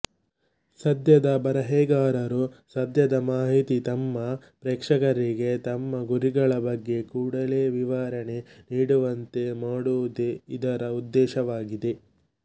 ಸದ್ಯದ ಬರೆಹಗಾರರು ಸದ್ಯದ ಮಾಹಿತಿ ತಮ್ಮ ಪ್ರೇಕ್ಷಕರಿಗೆ ತಮ್ಮ ಗುರಿಗಳ ಬಗ್ಗೆ ಕೂಡಲೇ ವಿವರಣೆ ನೀಡುವಂತೆ ಮಾಡುವುದೇ ಇದರ ಉದ್ದೇಶವಾಗಿದೆ